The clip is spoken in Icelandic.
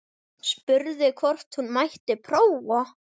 Spurði hvort hún mætti prófa.